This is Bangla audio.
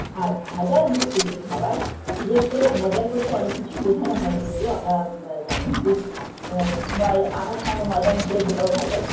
আর ভেজাল যুক্ত যে খাবার বিশেষ করে ভেজাল বলতে অনেক কিছু বোঝানো হয় যদিও আমরা ব জানি যে আ ময় আটার সঙ্গে ময়দা মেশালে সেটাও ভেজাল